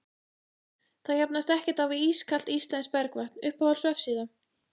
það jafnast ekkert á við ískalt íslenskt bergvatn Uppáhalds vefsíða?